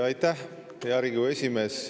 Aitäh, hea Riigikogu esimees!